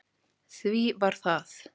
Því var það